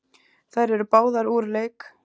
Þær eru báðar úr leik.